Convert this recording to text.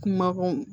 Kumako